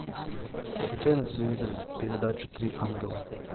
включай на телевизоре передачу три ангела